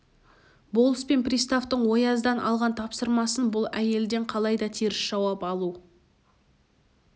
болыс пен приставтың ояздан алған тапсырмасы бұл әйелден қалайда теріс жауап алу